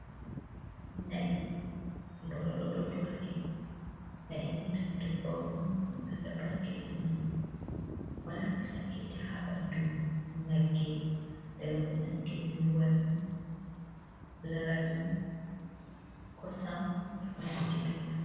"Na'i"nbororo ɗo duraɗi Na’i ni ɗum dabbawa on ɗum allah barkidini ɗum wala ko sakkinta ha ɓandu nagge daga ko nangi ni luwal, laral, kosam eko nandi be mai.